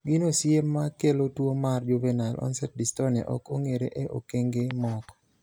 gino siye ma kelo tuo mar juvenile onset dystonia ok ong'ere e okenge moko